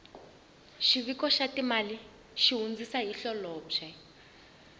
xiviko xa timali xi hundzisa hi holobye